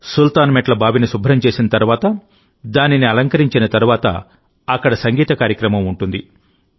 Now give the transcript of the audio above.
సుల్తాన్ మెట్ల బావిని శుభ్రం చేసిన తరువాత దానిని అలంకరించిన తరువాత అక్కడ సంగీత కార్యక్రమం ఉంటుంది